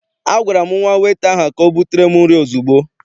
A gwara m nwata weta ahụ ka ọ butere m nri ozugbo!